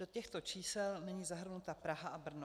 Do těchto čísel není zahrnuta Praha a Brno.